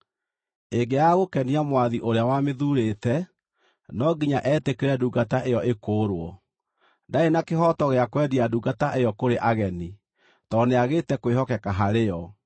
Ĩngĩaga gũkenia mwathi ũrĩa wamĩthuurĩte, no nginya etĩkĩre ndungata ĩyo ĩkũũrwo. Ndarĩ na kĩhooto gĩa kwendia ndungata ĩyo kũrĩ ageni, tondũ nĩagĩte kwĩhokeka harĩ yo.